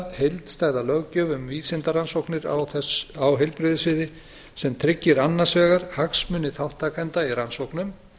heildstæða löggjöf um vísindarannsóknir á heilbrigðissviði sem tryggir annars vegar hagsmuni þátttakenda í rannsóknum